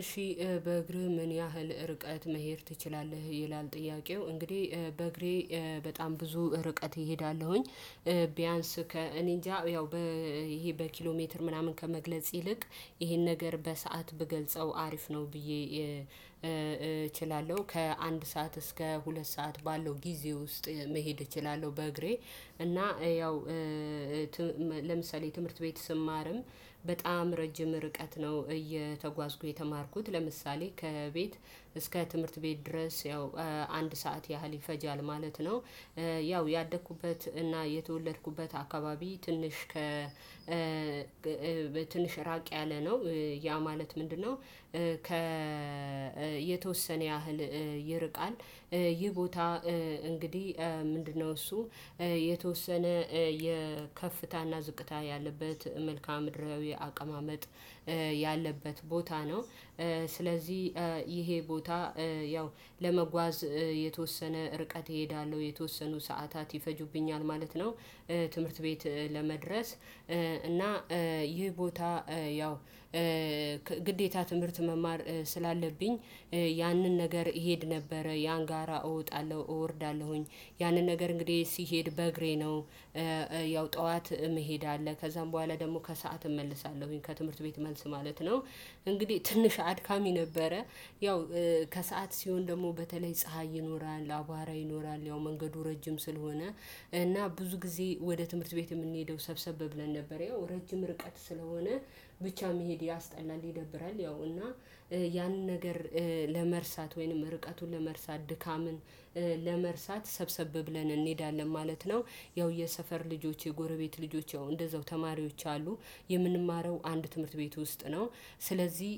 እሺ በእግርህ ምን ያህል ርቀት መሄድ ትችላለህ ይላል ጥያቄው። እንግዲህ በእግሬ በጣም ብዙ ርቀት እሄዳለሁኝ። ቢያንስ ከእኔ እኔንጃ ያው በ ይሄ በኪሎ ሜትር ምናምን ከመግለጽ ይልቅ ይሄን ነገር በሰአት ብገልጸው አሪፍ ነው ብዬ እችላለሁ ከአንድ ሰዓት እስከ ሁለት ሰዓት ባለው ጊዜ ውስጥ መሄድ እችላለሁ። በእግሬ እና ያው ለምሳሌ ትምህርት ቤት ስማርም በጣም ረጅም ርቀት ነው። እየተጓዝኩ የተማርኩት ለምሳሌ ከቤት እስከ ትምህርት ቤት ድረስ ያው አንድ ሰዓት ያህል ይፈጃል ማለት ነው። ያው ያደኩበት እና የተወለድኩበት አካባቢ ትንሽ ከ ትንሽ ራቅ ያለ ነው። ያ ማለት ምንድነው? ከ የተወሰነ ያህል ይርቃል። ይህ ቦታ። እንግዲህ ምንድነው እሱ የተወሰነ የከፍታና ዝቅታ ያለበት መልካም ድርባዊ አቀማመጥ ያለበት ቦታ ነው። ስለዚህ ይሄ ቦታ ያው ለመጓዝ የተወሰነ ርቀት እሄዳለሁ የተወሰኑ ሰዓታት ይፈጁብኛል ማለት ነው። ትምህርት ቤት ለመድረስ እና ይህ ቦታ ያው ግዴታ ትምህርት መማር ስላለብኝ ያንን ነገር እሄድ ነበረ ያን ጋራ እወጣለሁ እወርዳለሁኝ ያንን ነገር እንግዲህ ሲሄድ በእግሬ ነው። ያው ጠዋት መሄድ አለ ከዛም በኋላ ደግሞ ከሰአት እመለሳለሁኝ ከትምህርት ቤት መልስ ማለት ነው። እንግዲህ ትንሽ አድካሚ ነበረ። ያው ከሰአት ሲሆን ደግሞ በተለይ ፀሀይ ይኖራል አቧራ ይኖራል ያው መንገዱ ረጅም ስለሆነ እና ብዙ ጊዜ ወደ ትምህርት ቤት የምንሄደው ሰብሰብ ብለን ነበር። ያው ረጅም ርቀት ስለሆነ ብቻ መሄድ ያስጠላል ይደብራል። ያው እና ያንን ነገር ለመርሳት ወይንም ርቀቱን ለመርሳት ድካምን ለመርሳት ሰብሰብ ብለን እንሄዳለን ማለት ነው። ያው የሰፈር ልጆች የጎረቤት ልጆች እንደዛው ተማሪዎች አሉ። የምንማረው አንድ ትምህርት ቤት ውስጥ ነው። ስለዚህ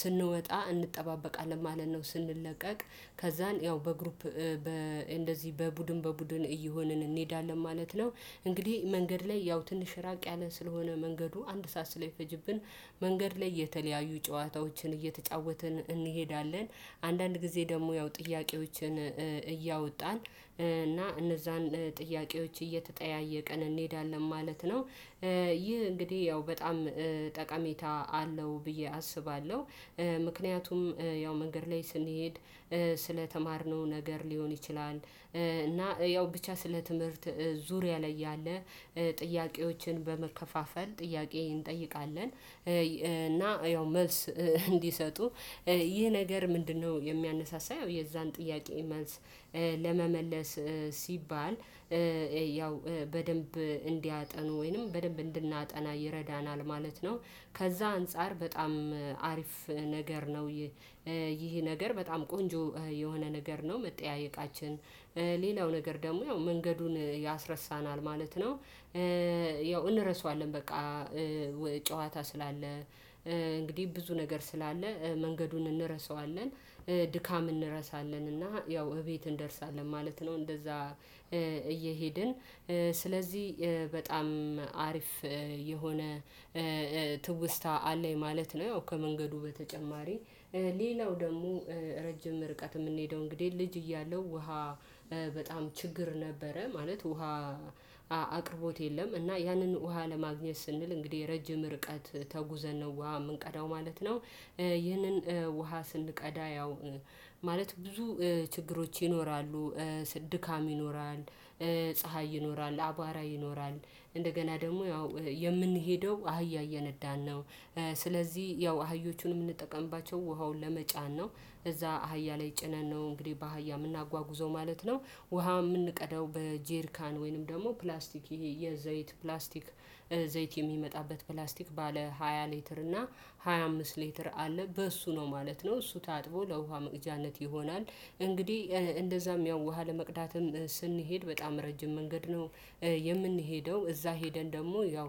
ስንወጣ እንጠባበቃለን ማለት ነው ስንለቀቅ ከዛን ያው በግሩፕ በ እንደዚህ በቡድን በቡድን እየሆንን እንሄዳለን ማለት ነው። እንግዲህ መንገድ ላይ ያው ትንሽ ራቅ ያለ ስለሆነ መንገዱ አንድ ሰዓት ስለሚፈጅብን መንገድ ላይ የተለያዩ ጨዋታዎችን እየተጫወትን እንሄዳለን። አንዳንድ ጊዜ ደግሞ ያው ጥያቄዎችን እያወጣን እና እነዛን ጥያቄዎች እየተጠያየቀን እንሄዳለን ማለት ነው። ይህ እንግዲህ ያው በጣም ጠቀሜታ አለው ብዬ አስባለሁ። ምክንያቱም ያው መንገድ ላይ ስንሄድ ስለተማርነው ነገር ሊሆን ይችላል። እና ያው ብቻ ስለ ትምህርት ዙሪያ ላይ ያለ ጥያቄዎችን በመከፋፈል ጥያቄ እንጠይቃለን። እና ያው መልስ እንዲሰጡ ይህ ነገር ምንድነው? የሚያነሳሳው ያው የዛን ጥያቄ መልስ ለመመለስ ሲባል ያው በደንብ እንዲያጠኑ ወይንም በደንብ እንድናጠና ይረዳናል። ማለት ነው። ከዛ አንፃር በጣም አሪፍ ነገር ነው። ይህ ነገር በጣም ቆንጆ የሆነ ነገር ነው። መጠያየቃችን ሌላው ነገር ደግሞ ያው መንገዱን ያስረሳናል ማለት ነው። ያው እንረሳዋለን በቃ ጨዋታ ስላለ እንግዲህ ብዙ ነገር ስላለ መንገዱን እንረሳዋለን ድካም እንረሳለን እና ያው እቤት እንደርሳለን ማለት ነው። እንደዛ እየሄድን ስለዚህ በጣም አሪፍ የሆነ ትውስታ አለኝ ማለት ነው። ያው ከመንገዱ በተጨማሪ ሌላው ደግሞ ረጅም ርቀት የምንሄደው እንግዲህ ልጅ እያለው ውሃ በጣም ችግር ነበረ። ማለት ውሃ አቅርቦት የለም። እና ያንን ውሃ ለማግኘት ስንል እንግዲህ ረጅም ርቀት ተጉዘን ነው ውሃ የምንቀዳው ማለት ነው። ይህንን ውሃ ስንቀዳ ያው ማለት ብዙ ችግሮች ይኖራሉ። ድካም ይኖራል። ፀሀይ ይኖራል አቧራ ይኖራል። እንደገና ደግሞ ያው የምንሄደው አህያ እየነዳን ነው። ስለዚህ ያው አህዮቹን የምንጠቀምባቸው ውሃውን ለመጫን ነው እዛ አህያ ላይ ጭነን ነው እንግዲህ በአህያ የምናጓጉዘው ማለት ነው። ውሃ የምንቀደው በጄርካን ወይንም ደግሞ ፕላስቲክ ይሄ የዘይት ፕላስቲክ ዘይት የሚመጣበት ፕላስቲክ ባለ ሃያ ሊትር እና ሃያ አምስት ሊትር አለ በእሱ ነው ማለት ነው እሱ ታጥቦ ለውሃ መቅጃነት ይሆናል። እንግዲህ እንደዛም ያው ውሃ ለመቅዳትም ስንሄድ በጣም ረጅም መንገድ ነው። የምንሄደው እዛ ሄደን ደግሞ ያው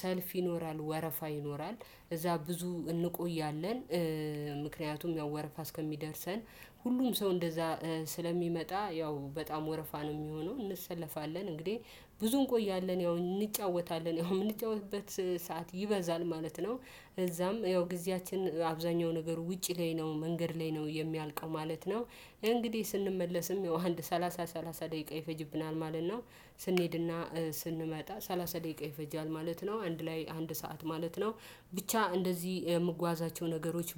ሰልፍ ይኖራል ወረፋ ይኖራል እዛ ብዙ እንቆያለን። ምክንያቱም ያው ወረፋ እስከሚደርሰን ሁሉም ሰው እንደዛ ስለሚመጣ ያው በጣም ወረፋ ነው የሚሆነው እንሰለፋለን። እንግዲህ ብዙ እንቆያለን ያው እንጫወታለን ያው የምንጫወትበት ሰዓት ይበዛል ማለት ነው። እዛም ያው ጊዜያችን አብዛኛው ነገር ውጪ ላይ ነው መንገድ ላይ ነው የሚያልቀው ማለት ነው። እንግዲህ ስንመለስም ያው አንድ ሰላሳ ሰላሳ ደቂቃ ይፈጅብናል ማለት ነው። ስንሄድና ስንመጣ ሰላሳ ደቂቃ ይፈጃል ማለት ነው አንድ ላይ አንድ ሰዓት ማለት ነው። ብቻ እንደዚህ የምጓዛቸው ነገሮች